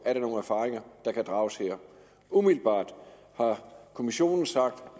er nogen erfaringer der kan drages her umiddelbart har kommissionen sagt